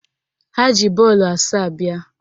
Ha ji bọọlụ asaa bịa